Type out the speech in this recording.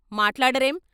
" మాట్లాడరేం?